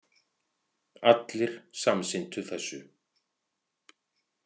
Allir samsinntu þessu.